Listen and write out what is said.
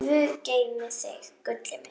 Guð geymi þig, gullið mitt.